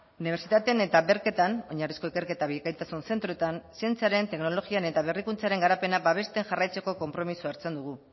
unibertsitatean eta bercetan oinarrizko ikerketa bikaintasun zentroetan zientziaren teknologian eta berrikuntzaren garapena babesten jarraitzeko konpromisoa hartzen dugu